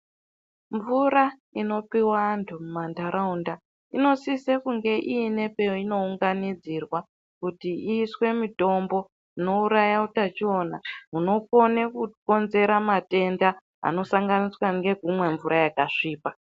Mvura inopowa antu mumanharaunda inosise kunge ine painounganidzirwa kuti iiswe mitombo inouraya utachiona hunokone kukonzera matenda anosanganiswa ngekumwa mvura yakasvipa.